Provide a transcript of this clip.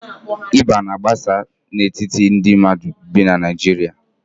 Ịba na-agbasa n'etiti ndị mmadụ bi na Naijiria